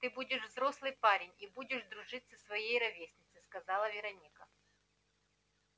ты будешь взрослый парень и будешь дружить со своей ровесницей сказала вероника